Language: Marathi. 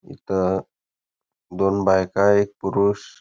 इथ दोन बायका एक पुरुष--